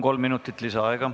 Kolm minutit lisaaega.